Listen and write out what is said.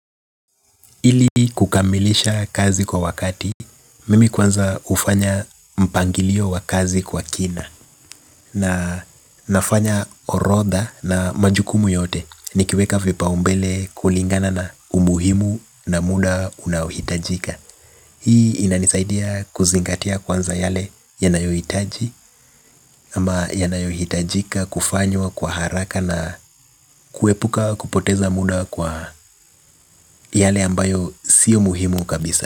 Ili kukamilisha kazi kwa wakati mimi kwanza hufanya mpangilio wa kazi kwa kina na nafanya orodha na majukumu yote nikiweka vipaombele kulingana na umuhimu na muda unaohitajika. Hii inanisaidia kuzingatia kwanza yale yanayohitaji ama yanayohitajika kufanywa kwa haraka na kuepuka kupoteza muda kwa yale ambayo sio muhimu kabisa.